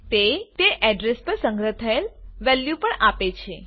તે તે અડ્રેસ પર સંગ્રહ થયેલ વેલ્યુ પણ આપે છે